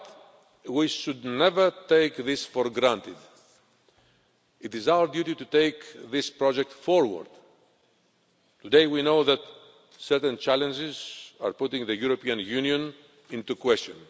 However, we should never take this for granted. It is our duty to take this project forward. Today we know that certain challenges are putting the European Union into question.